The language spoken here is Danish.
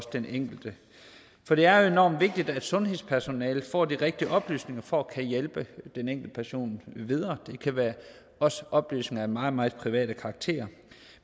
den enkelte for det er jo enormt vigtigt at sundhedspersonalet får de rigtige oplysninger for at kunne hjælpe den enkelte person videre det kan være oplysninger af meget meget privat karakter